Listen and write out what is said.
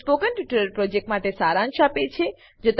તે spoken tutorial પ્રોજેક્ટનો સારાંશ આપે છે